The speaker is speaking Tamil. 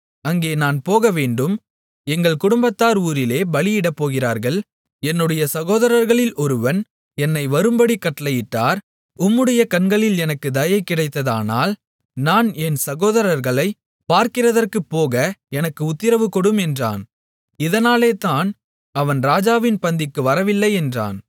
அங்கே நான் போகவேண்டும் எங்கள் குடும்பத்தார் ஊரிலே பலியிடப் போகிறார்கள் என்னுடைய சகோதரர்களில் ஒருவன் என்னை வரும்படி கட்டளையிட்டார் உம்முடைய கண்களில் எனக்குத் தயை கிடைத்ததானால் நான் என் சகோதரர்களைப் பார்க்கிறதற்குப் போக எனக்கு உத்திரவு கொடும் என்றான் இதனாலேதான் அவன் ராஜாவின் பந்திக்கு வரவில்லை என்றான்